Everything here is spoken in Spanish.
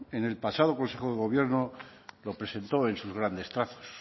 en el pasado consejo de gobierno lo presentó en sus grandes trazos